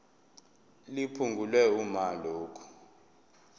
liphungulwe uma lokhu